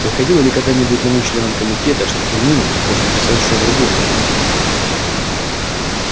приходило ли когда-нибудь на ум членам комитета что терминус может интересовать что-то другое нежели энциклопедия